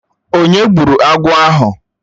Onye gburu agwọ̀ ahụ?